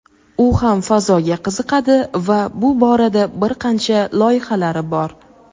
u ham fazoga qiziqadi va bu borada bir qancha loyihalari bor.